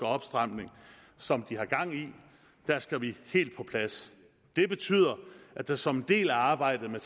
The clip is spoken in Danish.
opstramning som de har gang i der skal vi helt på plads det betyder at der som en del af arbejdet med